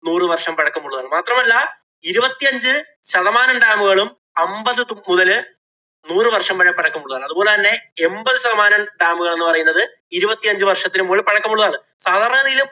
നൂറുവര്‍ഷം പഴക്കമുള്ളതാണ്. മാത്രമല്ല, ഇരുപത്തിയഞ്ച് ശതമാനം dam ഉകളും അമ്പത് മുതല് നൂറുവര്‍ഷം വരെ പഴക്കം ഉള്ളതാണ്. അതുപോലെ തന്നെ എമ്പത്‌ ശതമാനം dam ഉകള്‍ എന്ന് പറയുന്നത് ഇരുപത്തിയഞ്ച് വര്‍ഷത്തിനു മുകളില്‍ പഴക്കം ഉള്ളതാണ്. സാധാരണ ഗതിയില്